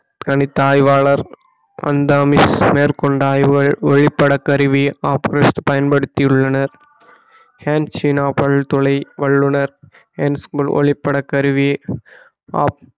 கனித்த ஆய்வாளர் மேற்கொண்ட ஆய்வுகள் ஒளிப்பட கருவி ஆபோனிஸ்ட் பயன்படுத்தியுள்ளனர் ஹென் சீனா பல்துளை வள்ளுனர் ஹென்மெல் ஒளிப்பட கருவி